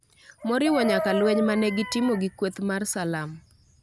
moriwo nyaka lweny ma ne gitimo gi kweth mar Salam.